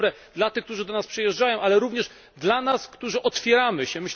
To jest dobre dla tych, którzy do nas przyjeżdżają, ale również dla nas, którzy otwieramy się.